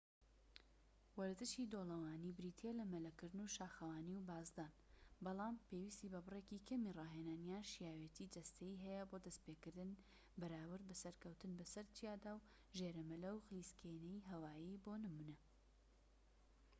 وەرزشی دۆڵەوانی بریتیە لە مەلەکردن و شاخەوانی و بازدان، بەڵام پێویستی بە بڕێکی کەمی ڕاهێنان یان شیاوێتی جەستەیی هەیە بۆ دەستپێکردن بەراورد بە سەرکەوتن بەسەر چیادا و ژێرەمەلە و خلیسکێنەی هەوایی بۆ نمونە